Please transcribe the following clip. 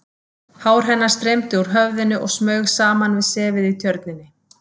Hár hennar streymdi úr höfðinu og smaug saman við sefið í Tjörninni.